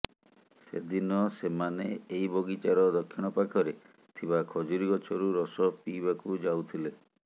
ସେଦିନ ସେମାନେ ଏଇ ବଗିଚାର ଦକ୍ଷିଣ ପାଖରେ ଥିବା ଖଜୁରି ଗଛରୁ ରସ ପିଇବାକୁ ଯାଉଥିଲେ